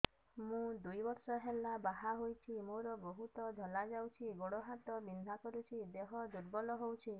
ମୁ ଦୁଇ ବର୍ଷ ହେଲା ବାହା ହେଇଛି ମୋର ବହୁତ ଧଳା ଯାଉଛି ଗୋଡ଼ ହାତ ବିନ୍ଧା କରୁଛି ଦେହ ଦୁର୍ବଳ ହଉଛି